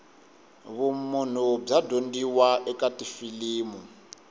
vumunhu bya dyondziwa eka tifilimu